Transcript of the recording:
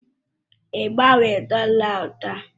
Ị gbanwere dọla ahụ taa?